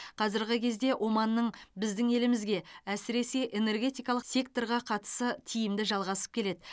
қазіргі кезде оманның біздің елімізге әсіресе энергетикалық секторға қатысы тиімді жалғасып келеді